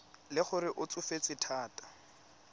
le gore o tsofetse thata